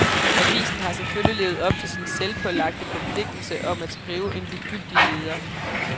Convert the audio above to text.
Avisen har selvfølgelig levet op til sin selvpålagte forpligtelse om at skrive en ligegyldig leder.